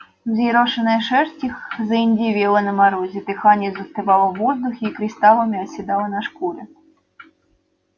взъерошенная шерсть их заиндевела на морозе дыхание застывало в воздухе и кристаллами оседало на шкуре